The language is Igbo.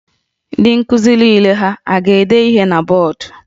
Ndị nkuzi niile ha a ga-ede ihe na bọọdụ?